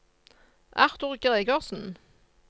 Arthur Gregersen